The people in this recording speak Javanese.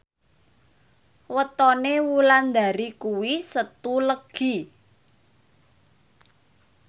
wetone Wulandari kuwi Setu Legi